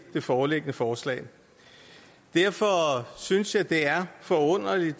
det foreliggende forslag derfor synes jeg det er forunderligt